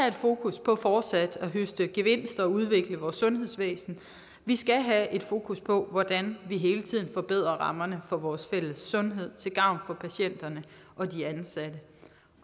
et fokus på fortsat at høste gevinster og udvikle vores sundhedsvæsen vi skal have fokus på hvordan vi hele tiden forbedrer rammerne for vores fælles sundhed til gavn for patienterne